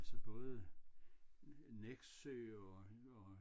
Atltså både Nexø og og